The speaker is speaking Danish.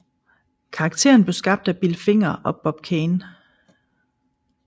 Karakteren blev skabt af Bill Finger og Bob Kane